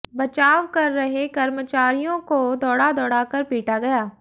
बचाव कर रहे कर्मचारियों को दौड़ा दौड़ाकर पीटा गया